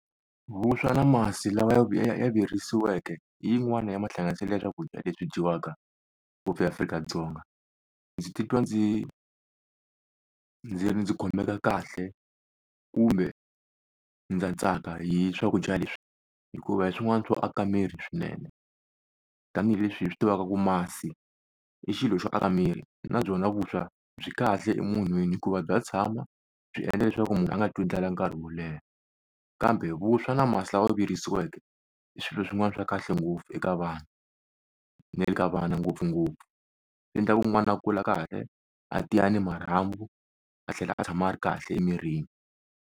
Vuswa na masi lawa ya virisiweke hi yin'wana ya mahlanganiselo ya swakudya leswi dyiwaka ngopfu eAfrika-Dzonga. Ndzi titwa ndzi ndzi ndzi khomeka kahle kumbe ndza tsaka hi swakudya leswi, hikuva hi swin'wana swo aka miri swinene. Tanihi leswi hi swi tivaka ku masi i xilo xo aka miri na byona vuswa byi kahle emunhwini hikuva bya tshama byi endla leswaku munhu a nga twi ndlala nkarhi wo leha. Kambe vuswa na masi lama virisiweke i swilo swin'wana swa kahle ngopfu eka vanhu na le ka vana ngopfungopfu. Swi endla ku n'wana a kula karhi a tiya ni marhambu a tlhela a tshama a ri kahle emirini.